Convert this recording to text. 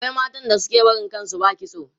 akwai matan da suke barin kan su ba kitso